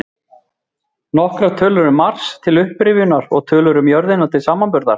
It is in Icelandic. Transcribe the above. Nokkrar tölur um Mars, til upprifjunar, og tölur um jörðina til samanburðar: